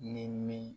Ni min